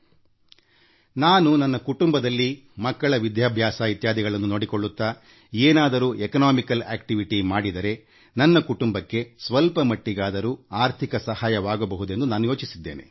ಆ ಪತ್ರ ಏನುಅವರು ಏನು ಬರೆದಿದ್ದರೆ ಎಂದರೆ ತಮ್ಮ ಕುಟುಂಬದಲ್ಲಿ ಮಕ್ಕಳ ವಿದ್ಯಾಭ್ಯಾಸ ಇತ್ಯಾದಿಗಳನ್ನು ನೋಡಿಕೊಳ್ಳುತ್ತಾ ಏನಾದರೂ ಆರ್ಥಿಕ ಚಟುವಟಿಕೆಯಲ್ಲಿ ತೊಡಗಿಕೊಂಡರೆ ತಮ್ಮ ಕುಟುಂಬಕ್ಕೆ ಸ್ವಲ್ಪ ಮಟ್ಟಿಗಾದರೂ ಆರ್ಥಿಕ ಸಹಾಯವಾಗಬಹುದೆಂದು ತಾವು ಯೋಚೆಸಿದೆ